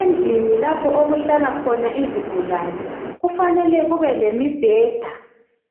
Endlini lapho okuhlala khona izigulani kufanele kube lemibheda.